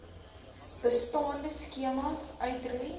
bestaande skemas uitroei